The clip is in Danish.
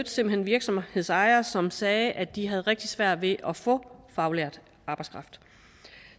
virksomhedsejere som sagde at de havde rigtig svært ved at få faglært arbejdskraft